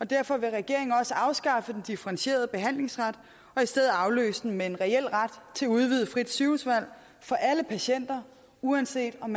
derfor vil regeringen også afskaffe den differentierede behandlingsret og afløse den med en reel ret til udvidet frit sygehusvalg for alle patienter uanset om